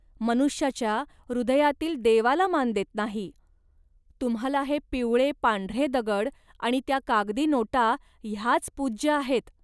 मनुष्याच्या हृदयातील देवाला मान देत नाही. तुम्हांला हे पिवळे पांढरे दगड आणि त्या कागदी नोटा ह्याच पूज्य आहेत